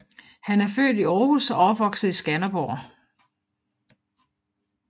Han er født i Aarhus og opvokset i Skanderborg